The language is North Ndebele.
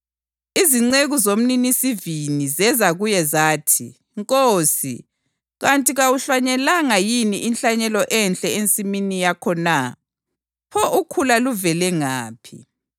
Izinceku zomninisivini zeza kuye zathi, ‘Nkosi, kanti kawuhlanyelanga yini inhlanyelo enhle ensimini yakho na? Pho ukhula luvele ngaphi?’